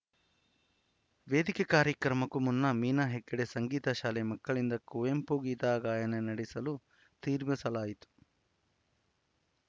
ವೇದಿಕೆ ಕಾರ್ಯಕ್ರಮಕ್ಕೂ ಮುನ್ನ ಮೀನಾ ಹೆಗಡೆ ಸಂಗೀತ ಶಾಲೆ ಮಕ್ಕಳಿಂದ ಕುವೆಂಪು ಗೀತ ಗಾಯನ ನಡೆಸಲು ತೀರ್ಮಾನಿಸಲಾಯಿತು